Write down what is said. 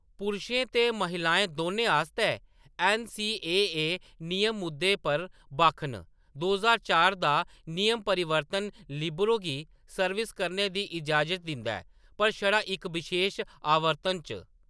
पुरशें ते महिलाएं दौनें आस्तै ऐन्न.सी.ए.ए. नियम इस मुद्दे पर बक्ख न; दो ज्हार चार दा इक नियम परिवर्तन लिबरो गी सर्विस करने दी इजाज़त दिंदा ऐ, पर छड़ा इक बशेश आवर्तन च।